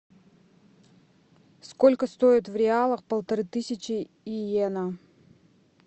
сколько стоит в реалах полторы тысячи йен